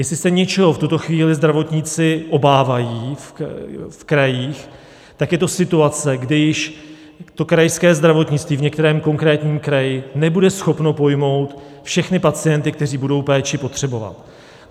Jestli se něčeho v tuto chvíli zdravotníci obávají v krajích, tak je to situace, kdy již krajské zdravotnictví v některém konkrétním kraji nebude schopno pojmout všechny pacienty, kteří budou péči potřebovat.